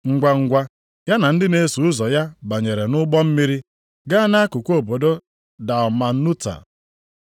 Ngwangwa, ya na ndị na-eso ụzọ ya banyere nʼụgbọ mmiri gaa nʼakụkụ obodo Dalmanuta.